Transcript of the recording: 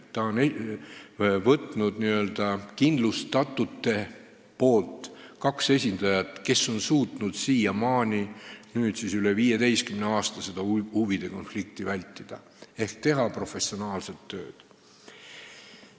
Ta on võtnud n-ö kindlustatute seast kaks esindajat, kes on suutnud siiamaani, üle 15 aasta seda huvide konflikti vältida ehk teha professionaalset tööd.